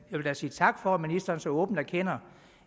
vil da sige tak for at ministeren så åbent erkender